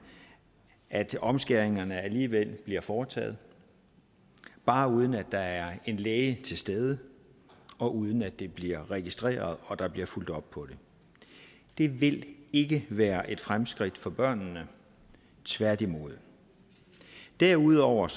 at omskæringerne alligevel bliver foretaget bare uden at der er en læge til stede og uden at det bliver registreret og der bliver fulgt op på det det vil ikke være et fremskridt for børnene tværtimod derudover